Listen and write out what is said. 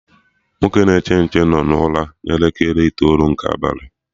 Nwoke na-eche nche no na ụra na elekere itoolu nke abalị